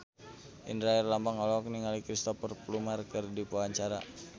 Indra Herlambang olohok ningali Cristhoper Plumer keur diwawancara